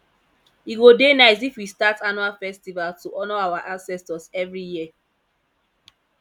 e go dey nice if we start annual festival to honor our ancestors every year